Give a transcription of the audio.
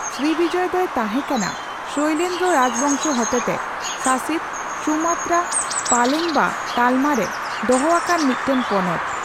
Srivijaya ᱫᱚᱭ ᱛᱟᱸᱦᱮ ᱠᱟᱱᱟ ᱥᱚᱭᱞᱮᱱᱫᱨᱚ ᱨᱟᱡᱵᱚᱝᱥᱚ ᱦᱚᱛᱮᱛᱮ ᱥᱟᱥᱤᱛ ᱥᱩᱢᱟᱛᱨᱟ ᱯᱟᱞᱮᱝᱵᱟ ᱛᱟᱞᱢᱟ ᱨᱮ ᱫᱚᱦᱚ ᱟᱠᱟᱱ ᱢᱤᱫᱴᱮᱱ ᱯᱚᱱᱚᱛ ᱾